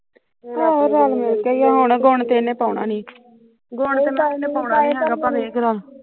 ਆਹੋ ਰੱਲ ਮਿਲ ਕੇ ਈ ਐ ਹੁਣ ਗੁਣ ਤੇ ਇਹਨੇ ਪਾਉਣਾ ਨੀ